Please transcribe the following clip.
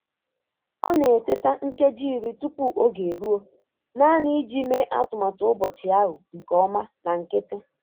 Ọ na-eteta nkeji iri tupu oge eruo naanị iji mee atụmatụ ụbọchị ahụ nke ọma na nkịtị.